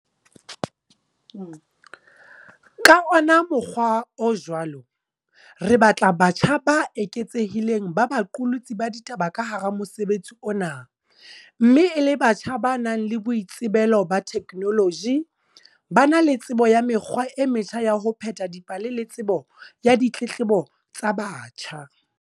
Ka ona mokgwa o jwalo, re batla batjha ba eketsehileng ba baqolotsi ba ditaba ka hara mosebetsi ona mme e le batjha ba nang le boitsebelo ba theknoloji, ba na le tsebo ya mekgwa e metjha ya ho pheta dipale le tsebo ya ditletlebo tsa batjha.